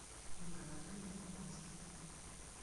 ольга анатольевна помазкина